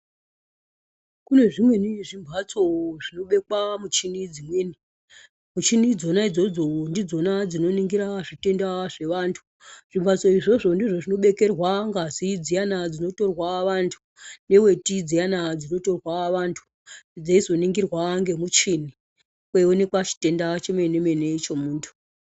Kune zvimweni zvimhatso zvinobekwa muchini dzimweni. Muchini idzona idzodzo ndidzona dzinoningira zvitenda zvevantu. Zvimhatso izvozvo ndizvo zvinobekerwa ngazi dziyana dzinotorwa vantu, neweti dziyana dzinotorwa vantu, dzeizoningirwa ngemuchini kweionekwa chitenda chemene-mene chemuntu.